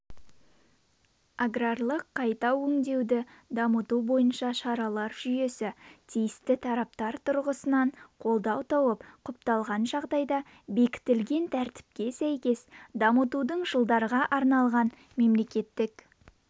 аграрлық қайта өңдеуді дамыту бойынша шаралар жүйесі тиісті тараптар тұрғысынан қолдау тауып құпталған жағдайда бекітілген тәртіпке сәйкес дамтудың жылдарға арналған мемлекеттік